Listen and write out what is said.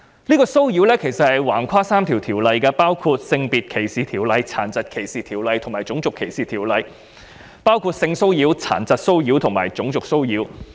這種騷擾橫跨了3項條例，包括《性別歧視條例》、《殘疾歧視條例》及《種族歧視條例》，即性騷擾、殘疾騷擾及種族騷擾。